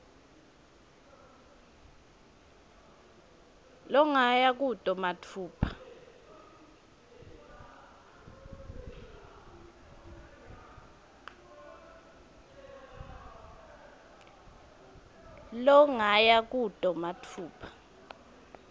longaya kuto matfupha